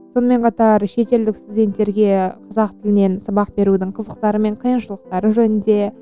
сонымен қатар шетелдік студенттерге қазақ тілінен сабақ берудің қызықтары мен қиыншылықтары жөнінде